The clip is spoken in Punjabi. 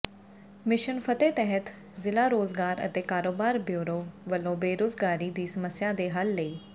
ਮਿਸ਼ਨ ਫਤਿਹ ਤਹਿਤ ਜ਼ਿਲ੍ਹਾ ਰੋਜ਼ਗਾਰ ਅਤੇ ਕਾਰੋਬਾਰ ਬਿਉਰੋ ਵਲੋਂ ਬੇਰੋਜਗਾਰੀ ਦੀ ਸਮੱਸਿਆ ਦੇ ਹੱਲ ਲਈ